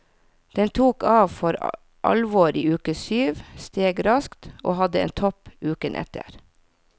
Den tok av for alvor i uke syv, steg raskt, og hadde en topp uken etter.